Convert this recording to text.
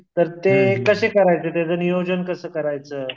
तर ते कसे करायचे त्याचं नियोजन कसं करायचं?